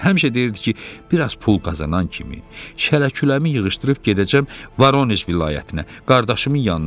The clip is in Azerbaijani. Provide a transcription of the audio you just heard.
Həmişə deyirdi ki, bir az pul qazanan kimi, şələküləmi yığışdırıb gedəcəm Voroneş vilayətinə, qardaşımın yanına.